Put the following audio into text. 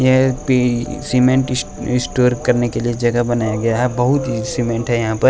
ये पी cement store करने के लिए जगह बनाया गया है बहुत ही सीमेंट है यहाँ पर --